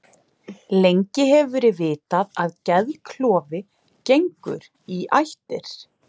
Lengi hefur verið vitað að geðklofi gengur í ættir.